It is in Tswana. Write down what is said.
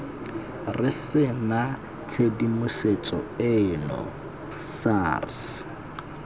re sena tshedimosetso eno sars